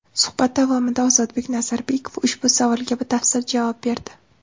Suhbat davomida Ozodbek Nazarbekov ushbu savolga batafsil javob berdi.